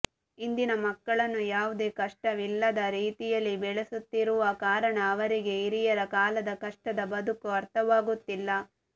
ಇಂದಿನ ಮಕ್ಕಳನ್ನು ಯಾವುದೇ ಕಷ್ಟವಿಲ್ಲದ ರೀತಿಯಲ್ಲಿ ಬೆಳಸುತ್ತಿರುವ ಕಾರಣ ಅವರಿಗೆ ಹಿರಿಯರ ಕಾಲದ ಕಷ್ಟದ ಬದುಕು ಅರ್ಥವಾಗುತ್ತಿಲ್ಲ